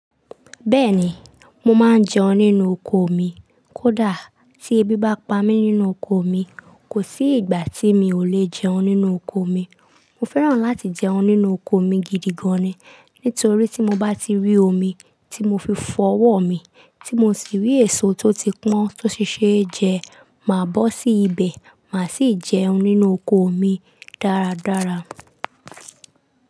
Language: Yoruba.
Bẹ́ẹ̀ni, mo máa ń jẹun nínú oko mi. Kódà tí eèbí bá pa mí nínú oko mi, kò sí ìgbà tí mi ò lè jẹun nínú oko mi. Mo fẹ́ràn láti jẹun nínú òkò mi gídi gàn ni. Nítorí tí mo bá ti rí omi tí mo fi fọ ọwọ́ mi, tí mo sì rí èso tó ti pọ́n tó sì ṣe é jẹ, màá bọ́ sí ibẹ̀, màá sì jẹun nínú oko mi dáradára.